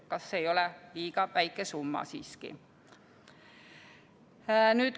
Kas ei ole liiga väike summa siiski?